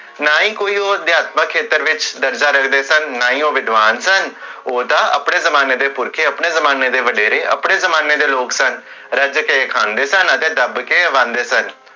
ਨਾ ਹੀ ਕੋਈ ਓਹ ਅਦਿਆਤਮਕ ਸ਼ੇਤਰਾ ਵਿਚ ਦਰਜਾ ਰਖਦੇ ਸਨ, ਨਾ ਹੀ ਓਹ ਵਿਦਵਾਨ ਸਨ, ਓਹ ਤਾ ਆਪਣੇ ਜ਼ਮਾਨੇ ਦੇ ਪੁਰਖੇ, ਆਪਣੇ ਜ਼ਮਾਨੇ ਦੇ ਵਡੇਰੇ, ਆਪਣੇ ਜ਼ਮਾਨੇ ਦੇ ਲੋਗ ਸਨ